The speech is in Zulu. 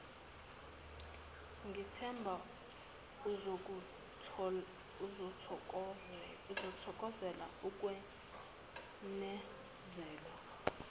ngithemba uzokuthokozela ukwenezelwa